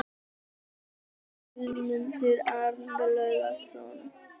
Þýðandi Guðmundur Arnlaugsson.